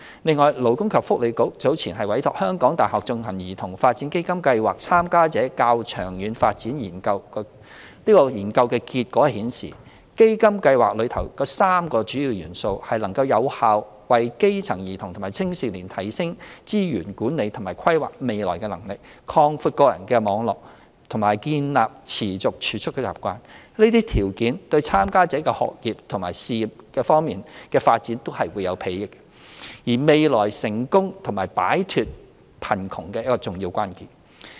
另外，勞工及福利局早前委託香港大學進行的"兒童發展基金計劃參加者的較長遠發展研究"結果顯示，基金計劃內的3個主要元素，能有效地為基層兒童和青少年提升資源管理和規劃未來的能力，擴闊個人網絡，並建立持續儲蓄的習慣，這些條件對參加者的學業和事業方面發展均有裨益，是未來成功和擺脫貧窮的重要關鍵。